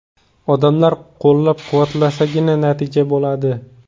Odamlar qo‘llab-quvvatlasagina, natija bo‘ladi.